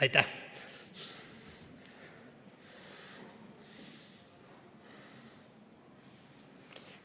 Aitäh!